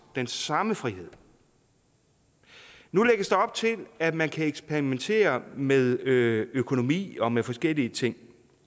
den samme frihed nu lægges der op til at man kan eksperimentere med økonomi og med forskellige ting